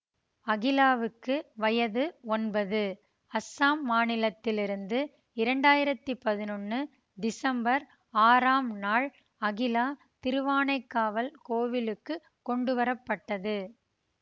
அகிலாவுக்கு வயது ஒன்பது அசாம் மாநிலத்திலிருந்து இரண்டு ஆயிரத்தி பதினொன்னு டிசம்பர் ஆறாம் நாள் அகிலா திருவானைக்காவல் கோவிலுக்குக் கொண்டுவர பட்டது